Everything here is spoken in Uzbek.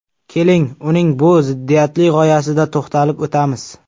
Keling, uning bu ziddiyatli g‘oyasida to‘xtalib o‘tamiz.